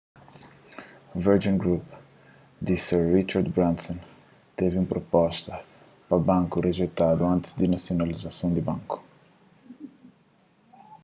virgin group di sir richard branson's tevi un proposta pa banku rijeitadu antis di nasionalizason di banku